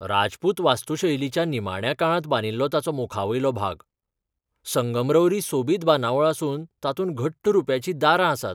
राजपूत वास्तुशैलीच्या निमाण्या काळांत बांदिल्लो ताचो मुखावयलो भाग संगमरवरी सोबीत बांदावळ आसून तातूंत घट्ट रुप्याचीं दारां आसात.